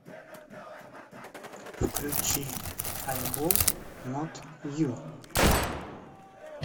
включи альбом нот ю